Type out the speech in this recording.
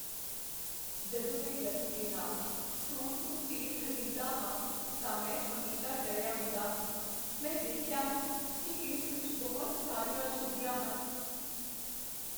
ਜਦੋਂ ਮੈਂ ਗਲੀ ਦੇ ਨਾਲਾਂ ਸਟੋਰ ਤੋਂ ਤੇਲ ਖ਼ਰੀਦਦਾ ਹਾਂ ਤਾਂ ਮੈਂ ਹਮੇਸ਼ਾ ਡਰਿਆ ਹੁੰਦਾ ਹਾਂ। ਮੈਂ ਦੇਖਿਆ ਹੈ ਕੀ ਇਸ ਵਿੱਚ ਬਹੁਤ ਸਾਰੀਆਂ ਅਸ਼ੁੱਧੀਆਂ ਹਨ।